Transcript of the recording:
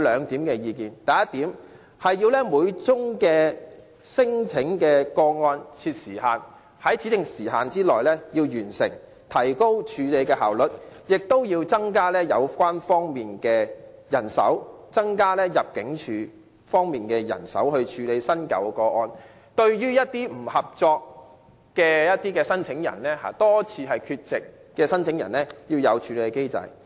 第一點，要為每宗聲請個案的審核設立時限，在指定時間內完成，以提高處理個案效率，同時增加有關方面的人手，例如增加入境處人手處理新舊個案，並設立機制處理一些不合作的聲請人，如多次缺席的聲請人。